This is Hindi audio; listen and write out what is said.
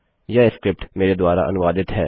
यह स्क्रिप्ट रवि कुमार द्वारा अनुवादित है